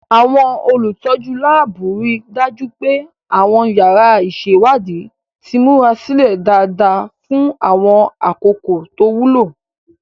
Àwọn olùtọ́jú láàbù rí i dájú pé àwọn yàrá ìṣèwádìí ti múra sílẹ̀ dáadáa fún àwọn àkókò tó wúlò.